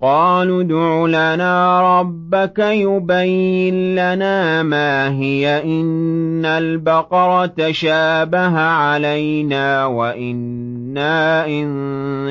قَالُوا ادْعُ لَنَا رَبَّكَ يُبَيِّن لَّنَا مَا هِيَ إِنَّ الْبَقَرَ تَشَابَهَ عَلَيْنَا وَإِنَّا إِن